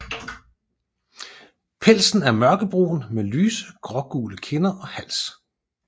Pelsen er mørkebrun med lyse grågule kinder og hals